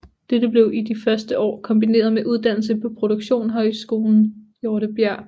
Dette blev i de første år kombineret med uddannelse på produktionshøjskolen Hjortesbjerg